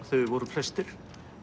þegar þeir voru flestir